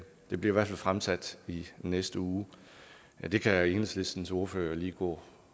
det bliver fald fremsat i næste uge men det kan enhedslistens ordfører jo lige gå